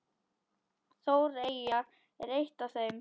ÓÞREYJA er eitt af þeim.